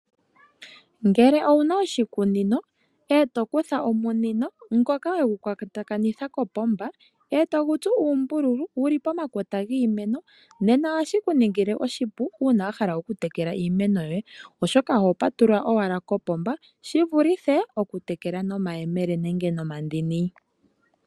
Ngele owuna oshikunino eto kutha omunino ngoka wegu kwatakanitha kopomba eto gu tsu uumbululu. Wuli pomakota giimeno. Nena ohashi ku ningile oshipu una wahala oku tekela iimeno yoye. Oshoka oho patulula owala kopomba shi vulithe oku tekela nomayemele nenge nomandini.